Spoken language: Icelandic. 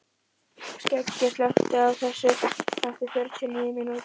Skeggi, slökktu á þessu eftir fjörutíu og níu mínútur.